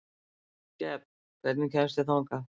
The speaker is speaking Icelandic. Gefn, hvernig kemst ég þangað?